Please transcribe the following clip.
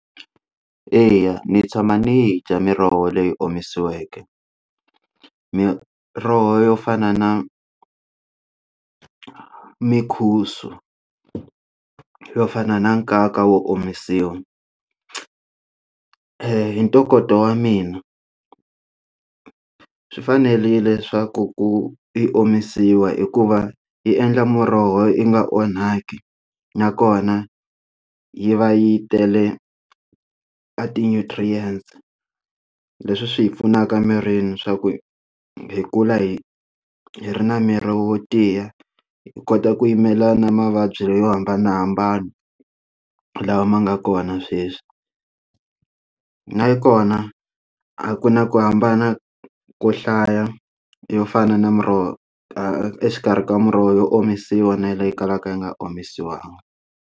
Eya ndzi tshama ndzi dya miroho leyi omisiweke miroho yo fana na mukhusa yo fana na nkaka wo omisiwa hi ntokoto wa mina swi fanele leswaku ku ku i omisiwa hikuva yi endla muroho yi nga onhaki nakona yi va yi tele a ti nutrients leswi swi hi pfunaka mirini swa ku hi kula hi hi ri na miri wo tiya hi kota ku yimela na mavabyi leyi yo hambanahambana lawa ma nga kona sweswi na yi kona a ku na ku hambana ko hlaya yo fana na miroho exikarhi ka miroho yo omisiwa na leyi kalaka yi nga omisiwanga